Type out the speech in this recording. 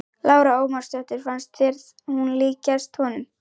Lára Ómarsdóttir: Fannst þér hún líkjast honum?